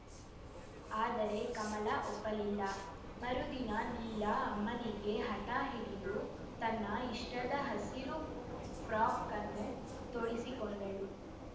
ಆದರೆ ಕಮಲ ಒಪ್ಪಲಿಲ್ಲ ಮರುದಿನ ನೀಲಾ ಅಮ್ಮನಿಗೆ ಹಠ ಹಿಡಿದು ತನ್ನ ಇಷ್ಟದ ಹಸಿರು ಫ್ರಾಕ್‌ಅನ್ನು ತೋಡಿಸಿಕೊಂಡಳು